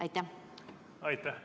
Aitäh!